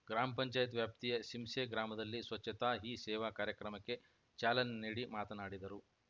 ಗ್ರಾಮ ಪಂಚಾಯತ್ ವ್ಯಾಪ್ತಿಯ ಸಿಂಸೆ ಗ್ರಾಮದಲ್ಲಿ ಸ್ವಚ್ಛತಾ ಹೀ ಸೇವಾ ಕಾರ್ಯಕ್ರಮಕ್ಕೆ ಚಾಲನೆ ನೀಡಿ ಮಾತನಾಡಿದರು